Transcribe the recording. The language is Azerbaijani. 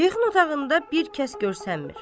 Şeyxin otağında bir kəs görsənmir.